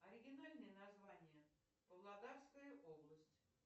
оригинальное название павлодарская область